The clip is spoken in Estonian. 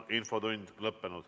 Infotund on lõppenud.